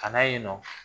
Ka na yen nɔ